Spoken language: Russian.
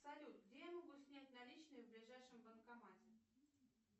салют где я могу снять наличные в ближайшем банкомате